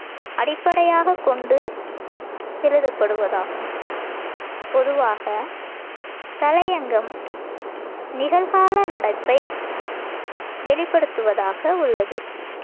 அடிப்படையாகக்கொண்டு எழுதப்படுவதாகும். பொதுவாக, தலையங்கம் நிகழ்கால நடப்பை வெளிப்படுத்துவதாக உள்ளது.